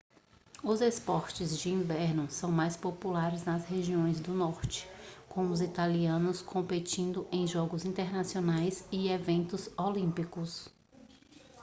os esportes de inverno são mais populares nas regiões do norte com os italianos competindo em jogos internacionais e eventos olímpicos